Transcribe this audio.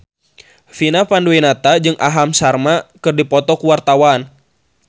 Vina Panduwinata jeung Aham Sharma keur dipoto ku wartawan